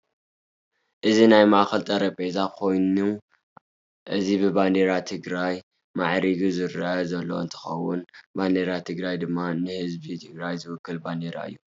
እዚ ናይ ማእከል ጠረጰዛ ኮይኒ እዚ ብባንደራ ትግራይ ማዕሪጉ ዝረአ ዘሎ እንትከውን ባንደራ ትግራይ ድማ ንህዝቢ ትግራይ ዝውክል ባንደራ እዩ።